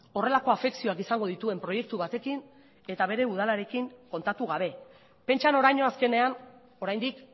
horrelako afekzioak izango dituen proiektu batekin eta bere udalarekin kontatu gabe pentsa noraino azkenean oraindik